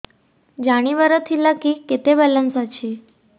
ଜାଣିବାର ଥିଲା କି କେତେ ବାଲାନ୍ସ ଅଛି